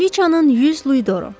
Kraliçanın 100 luidoru.